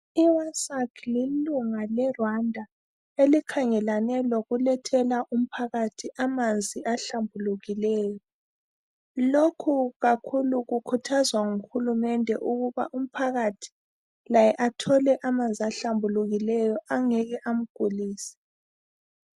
IWASAC lilunga leRwanda elikhangelane lokulethela umphakathi amanzi ahlambulukileyo. Lokhu kakhulu kukhuthazwa nguhulumende ukuba umphakathi laye athole amanzi ahlambulukileyo angeke amgulise.